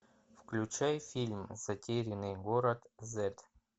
включай фильм затерянный город зет